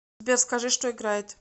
сбер скажи что играет